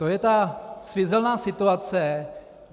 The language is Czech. To je ta svízelná situace.